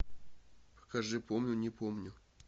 покажи помню не помню